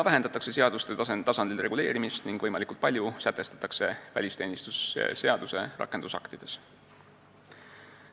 Vähendatakse seaduste tasandil reguleerimist ning võimalikult palju sätestatakse välisteenistuse seaduse rakendusaktides.